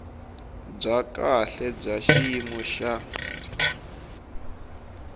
bya kahle bya xiyimo xa